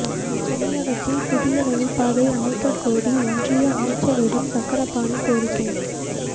தமிழகத்தில் புதிய ரயில் பாதை அமைக்கக்கோரி ஒன்றிய அமைச்சரிடம் சக்கரபாணி கோரிக்கை